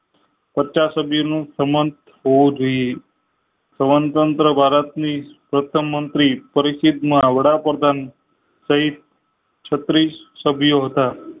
પચાસ સુધી નું પરમં હોવું જોઈ સ્વતંત્ર ભારત ની પ્રથમ મંત્રી પરિષદ માં વડાપ્રધાન સહિત છત્રીસ સભ્યો હતા